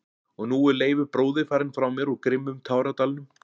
Og nú er Leifur bróðir farinn frá mér úr grimmum táradalnum.